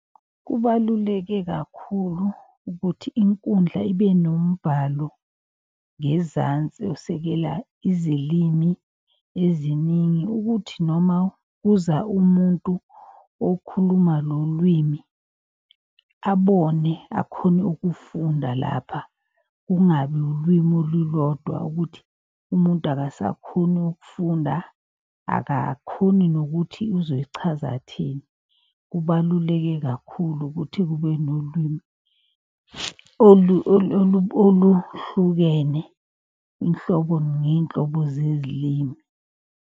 Kubaluleke kakhulu ukuthi inkundla ibe nombhalo ngezansi osekela izilimi eziningi. Ukuthi noma kuza umuntu okhuluma lolwimi abone akhone ukufunda lapha. Kungabi ulwimi olulodwa ukuthi umuntu akasakhoni ukufunda, akakhoni nokuthi ozoyichaza athini. Kubaluleke kakhulu ukuthi kube nolwimi oluhlukene inhlobo ngey'nhlobo zezilimi.